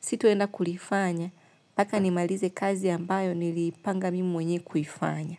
sitoenda kulifanya, paka nimalize kazi ambayo nilipanga mimi mwenyewe kuifanya.